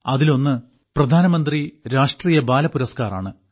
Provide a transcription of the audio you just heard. അതിലൊന്ന് പ്രധാനമന്ത്രി രാഷ്ട്രീയ ബാലപുരസ്കാർ ആണ്